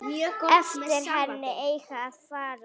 Eftir henni eigi að fara.